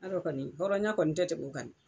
Y'a dɔn kɔni hɔrɔnya kɔni tɛ tɛm'o kan